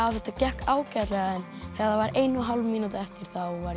þetta gekk ágætlega en þegar var ein og hálf mínúta eftir var ég